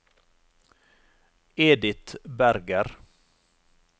Edith Berger